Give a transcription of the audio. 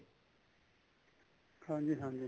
ਹਾਂਜੀ ਹਾਂਜੀ